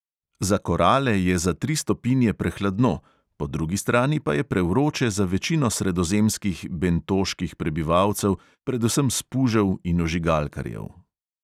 Za korale je za tri stopinje prehladno, po drugi strani pa je prevroče za večino sredozemskih bentoških prebivalcev, predvsem spužev in ožigalkarjev.